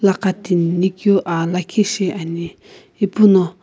aqatinikeu aa lakhi shiani ipuno.